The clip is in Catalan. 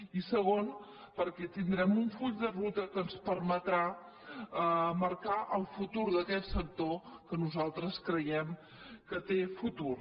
i segon perquè tindrem un full de ruta que ens permetrà marcar el futur d’aquest sector que nosaltres creiem que té futur